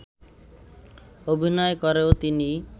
অভিনয় করেও তিনি